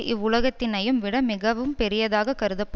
இவ்வுலகத்தினையும் விட மிகவும் பெரியதாகக் கருதப்படும்